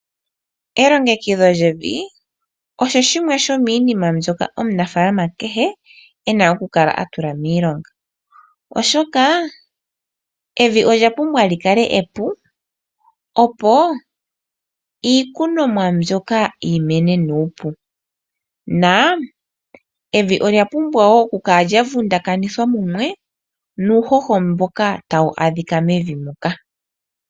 Elongekidho lyevi osho oshinima shoka omunafalaama kehe ena oku kala atula miilonga. Oshoka evi olya pumbwa oku kala epu, opo iikunomwa mbyoka yi mene nuupu na evi olya pumbwa oku kala lyavundakanithwa mumwe nuuhoho mboka tawu adhika mevi ndyoka.